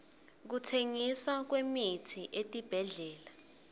kutsengiswa kwemitsi etibhedlela